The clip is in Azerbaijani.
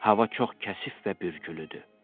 Hava çox kəsif və bürgülüdür.